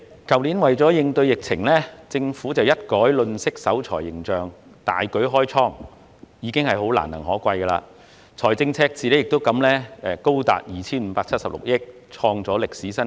主席，為應對疫情，政府去年一改吝嗇守財形象，大舉開倉，實屬難能可貴，財政赤字也因而高達 2,576 億元，創下歷史新高。